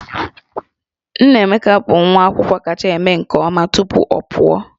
Nnaemeka bụ nwa akwụkwọ kacha eme nke ọma tupu ọ pụọ